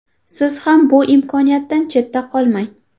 Siz ham bu imkoniyatdan chetda qolmang.